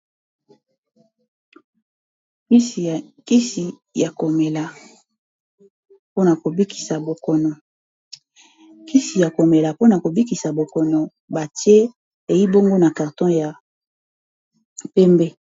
kisi ya komela pona kobikisa bokono batie eibongo na karton ya pembe